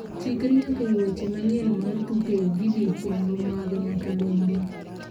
Chikri nyaka e weche manyien mar tuke video chenro mag nyakalondo.